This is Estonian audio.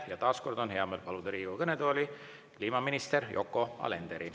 Ja taas on hea meel paluda Riigikogu kõnetooli kliimaminister Yoko Alender.